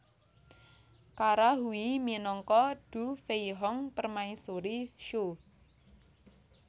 Kara Hui minangka Du Feihong Permaisuri Shu